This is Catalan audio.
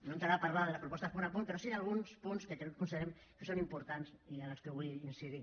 no entraré a parlar de les propostes punt per punt però sí d’alguns punts que considerem que són importants i en els que vull incidir